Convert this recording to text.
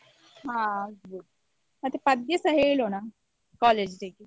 ಹ ಆಗ್ಬೋದು ಮತ್ತೆ ಪದ್ಯಸ ಹೇಳೋಣ college day ಗೆ.